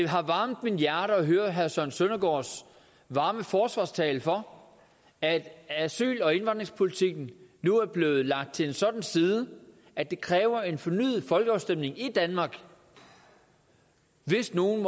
har varmet mit hjerte at høre herre søren søndergaards varme forsvarstale for at asyl og indvandringspolitikken nu er blevet lagt til en sådan side at det kræver en fornyet folkeafstemning i danmark hvis nogen